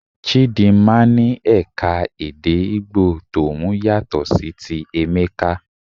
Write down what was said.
Chidinma ní eka-èdè Igbo tòun yàtọ̀ sí ti Emeka.